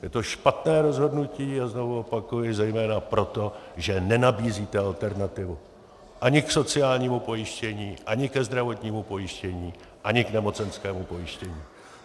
Je to špatné rozhodnutí, a znovu opakuji, zejména proto, že nenabízíte alternativu ani k sociálnímu pojištění, ani ke zdravotnímu pojištění, ani k nemocenskému pojištění.